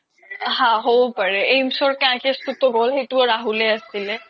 হা হ্'ব পাৰে aims সেইতোও ৰাহুলয়ে আছিলে